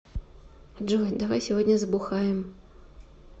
джой давай сегодня забухаем